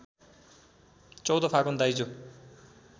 १४ फागुन दाइजो